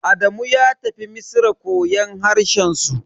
Adamu ya tafi Misra koyon harshen su.